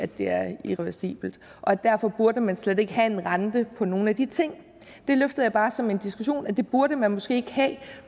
det er irreversibelt derfor burde man slet ikke have en rente på nogle af de ting jeg løftede bare som en diskussion at det burde man måske ikke have